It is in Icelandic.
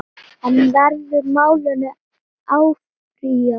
En verður málinu áfrýjað?